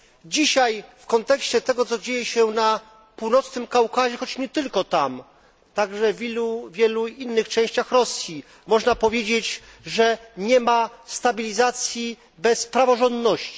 Dzisiaj w kontekście tego, co dzieje się na Północnym Kaukazie, choć nie tylko tam, ale także w wielu innych częściach Rosji, można powiedzieć, że nie ma stabilizacji bez praworządności.